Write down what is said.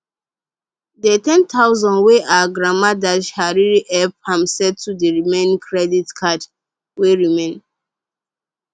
dey ten thousand wey her grandma dash her really help am settle d remaining credit card wey remain